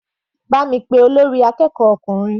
Bá mi pé olórí akẹ́kọ̀ọ́ ọkùnrin.